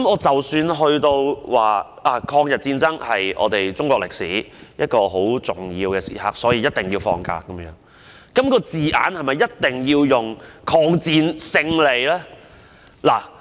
即使有人認為，抗日戰爭是中國歷史一個十分重要的時刻，所以一定要放假，但這個假期的名稱是否一定要包含抗戰勝利的字眼？